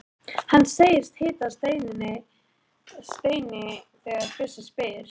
Hann segist heita Steini þegar bjössi spyr.